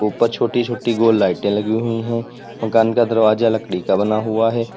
ऊपर छोटी छोटी गो लाइटें लगी हुई हैं मकान का दरवाजा लकड़ी का बना हुआ हैं।